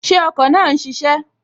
Ṣé ọkọ̀ náà n ṣiṣẹ́?